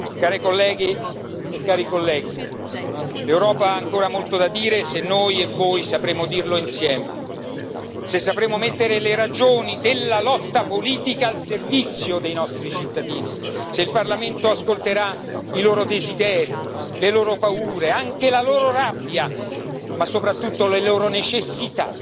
Care colleghe e cari colleghi, l'Europa ha ancora molto da dire se noi e voi sapremo dirlo insieme, se sapremo mettere le ragioni della lotta politica al servizio dei nostri cittadini, se il Parlamento ascolterà i loro desideri, le loro paure, anche la loro rabbia, ma soprattutto le loro necessità.